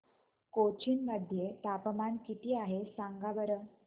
कोचीन मध्ये तापमान किती आहे सांगा बरं